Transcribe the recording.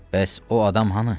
Bəs o adam hanı?